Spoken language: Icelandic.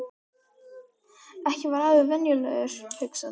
Ekki var afi venjulegur, hugsaði hún.